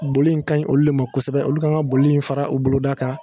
Boli in ka ɲi olu de ma kosɛbɛ olu kan ka boli in fara u boloda kan